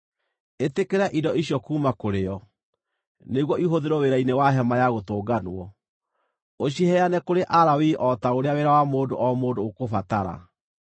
“Ĩtĩkĩra indo icio kuuma kũrĩ o, nĩguo ihũthĩrwo wĩra-inĩ wa Hema-ya-Gũtũnganwo. Ũciheane kũrĩ Alawii o ta ũrĩa wĩra wa mũndũ o mũndũ ũkũbatara.”